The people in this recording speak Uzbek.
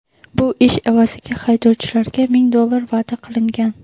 Bu ish evaziga haydovchilarga ming dollar va’da qilingan.